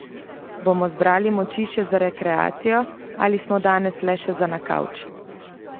Bomo zbrali moči za rekreacijo ali smo danes le še za na kavč?